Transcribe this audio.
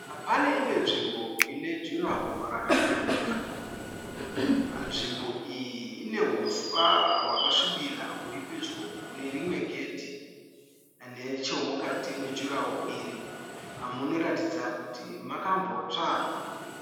Pane imwe nzvimbo ine jurahoro rakapwanyika. Nzvimbo iyi ine huswa hwakasvibira huri pedyo nerimwe gedhi. Nechemukati mejurahoro iri munoratidza kuti makambotsva.